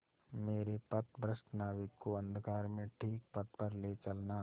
मेरे पथभ्रष्ट नाविक को अंधकार में ठीक पथ पर ले चलना